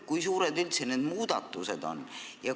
Kui suured üldse need muudatused on?